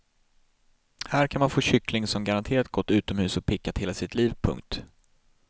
Här kan man få kyckling som garanterat gått utomhus och pickat hela sitt liv. punkt